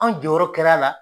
Anw jɔyɔrɔ kɛra la